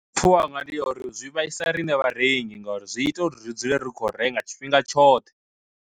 Pfhiwa hanga ndi ya uri zwi vhaisa riṋe vharengi ngauri zwi ita uri ri dzule ri kho renga tshifhinga tshoṱhe.